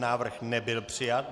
Návrh nebyl přijat.